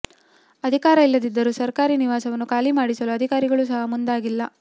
ಅಧಿಕಾರ ಇಲ್ಲದಿದ್ದರೂ ಸರ್ಕಾರಿ ನಿವಾಸವನ್ನು ಖಾಲಿ ಮಾಡಿಸಲು ಅಧಿಕಾರಿಗಳು ಸಹ ಮುಂದಾಗಿಲ್ಲ